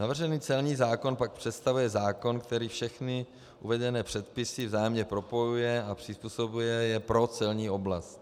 Navržený celní zákon pak představuje zákon, který všechny uvedené předpisy vzájemně propojuje a přizpůsobuje je pro celní oblast.